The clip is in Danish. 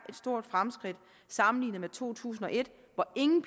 stort fremskridt sammenlignet med to tusind og et hvor ingen